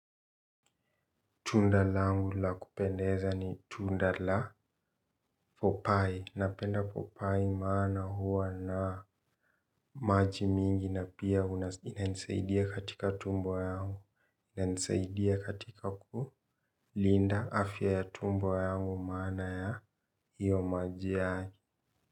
Tunda langu la kupendeza ni tunda la for pi. Napenda papai maana huwa na maji mingi na pia inanisaidia katika tumbo yangu. Ina nisaidia katika kulinda afya ya tumbo yangu maana ya hiyo maji yake.